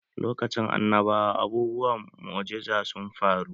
Lokacin annabawa abubuwan mu'ujiza sun faru